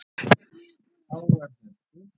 Tágar héldu.